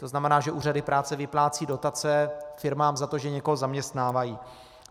To znamená, že úřady práce vyplácejí dotace firmám za to, že někoho zaměstnávají.